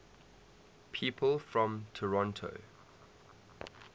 people from toronto